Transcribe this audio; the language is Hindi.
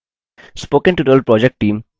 spoken tutorial project team: